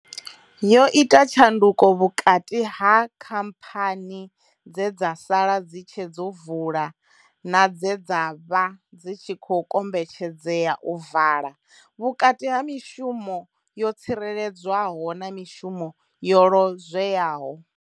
Yo ita tshanduko vhukati ha khamphani dze dza sala dzi tshe dzo vula na dze dza vha dzi tshi khou kombetshedzea u vala, vhukati ha mishumo yo tsireledzwaho na mishumo yo lozweaho.